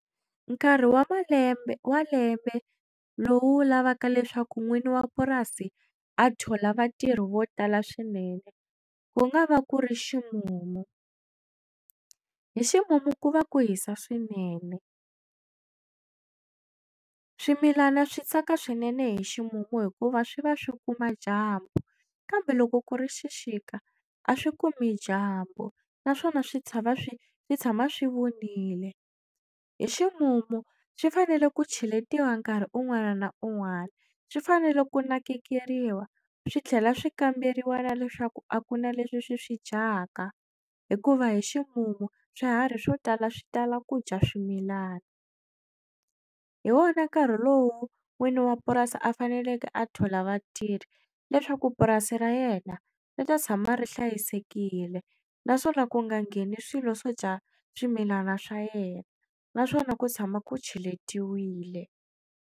Nkarhi wa malembe wa malembe lowu lavaka leswaku n'wini wa purasi a thola vatirhi vo tala swinene ku nga va ku ri ximumu hi ximumu ku va ku hisa swinene swimilana swi tsaka swinene hi ximumu hikuva swi va swi kuma dyambu kambe loko ku ri xixika a swi kumi dyambu naswona swi tshava swi tshama swi vunile hi ximumu swi fanele ku cheletiwa nkarhi un'wana na un'wana swi fanele ku nakekeriwa swi tlhela swi kamberiwa na leswaku a ku na leswi swi swi dyaka hikuva hi ximumu swiharhi swo tala swi tala ku dya swimilana hi wona nkarhi lowu n'wini wa purasi a faneleke a thola vatirhi leswaku purasi ra yena ri ta tshama ri hlayisekile naswona ku nga ngheni swilo swo dya swimilana swa yena naswona ku tshama ku cheletiwile.